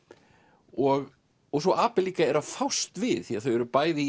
og svo Abel líka eru að fást við því þau eru bæði